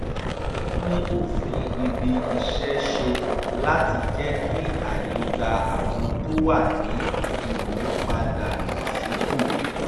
wọ́n tún òfin ibi iṣẹ́ ṣe láti jẹ́ kí àyè gba àwọn tó wà ní ìmúpadàbọ̀sípò